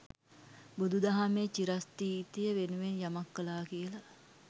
බුදු දහමේ චිරස්ථිතිය වෙනුවෙන් යමක් කලා කියල.